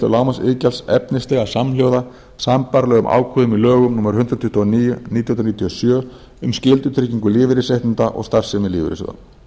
lágmarksiðgjalds efnislega samhljóða sambærilegum ákvæðum í lögum númer hundrað tuttugu og níu nítján hundruð níutíu og sjö um skyldutryggingu lífeyrisréttinda og starfsemi lífeyrissjóða